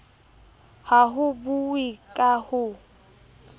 ha ho buuwe ka ho